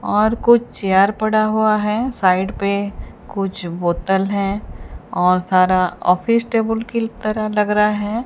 और कुछ चेयर पड़ा हुआ है साइड पे कुछ बोतल है और सारा ऑफिस टेबुल की तरह लग रहा है।